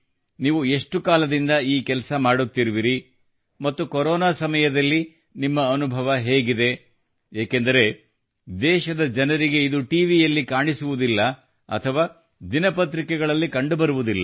ನೀವು ಎಷ್ಟು ಕಾಲದಿಂದ ಈ ಕೆಲಸ ಮಾಡುತ್ತಿರುವಿರಿ ಮತ್ತು ಕೊರೋನಾದ ಸಮಯದಲ್ಲಿ ನಿಮ್ಮ ಅನುಭವ ಹೇಗಿದೆ ಏಕೆಂದರೆ ದೇಶದ ಇಂತಹ ಜನರಿಗೆ ಈ ರೀತಿಯಲ್ಲಿ ಇದು ಟಿವಿಯಲ್ಲಿ ಕಾಣಿಸುವುದಿಲ್ಲ ಅಥವಾ ದಿನಪತ್ರಿಕೆಗಳಲ್ಲಿ ಕಂಡುಬರುವುದಿಲ್ಲ